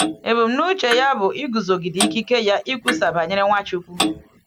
Ebumnuche ya bụ iguzogide ikike ya ikwusa banyere Nwachukwu.